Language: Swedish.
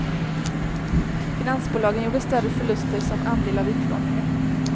Finansbolagen gjorde större förluster, som andel av utlåningen.